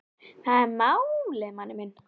Það er málið, manni minn.